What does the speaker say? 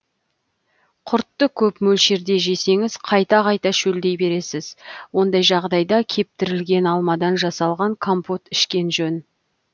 құртты көп мөлшерде жесеңіз қайта қайта шөлдей бересіз ондай жағдайда кептірілген алмадан жасалған компот ішкен жөн